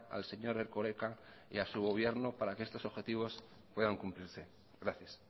al señor erkoreka y a su gobierno para que estos objetivos puedan cumplirse gracias